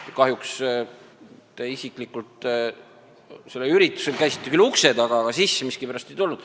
Te isiklikult käisite küll sellel üritusel ukse taga, aga kahjuks miskipärast sisse ei tulnud.